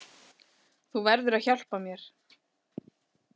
Þú verður að hjálpa mér.